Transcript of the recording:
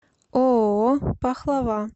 ооо пахлава